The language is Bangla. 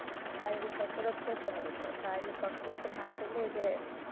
শারিরীক কসরত করতে হবে তো, শারীরিক কসরত না করলে এই যে,